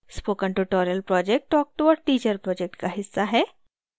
spoken tutorial project talktoateacher project का हिस्सा है